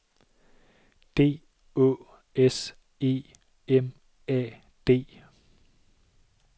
D Å S E M A D